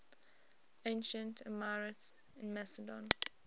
ancient epirotes in macedon